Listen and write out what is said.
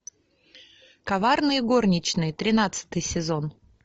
коварные горничные тринадцатый сезон